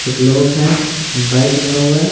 एक लोग है बाइक लगा हुआ है।